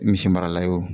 Misi marala ye o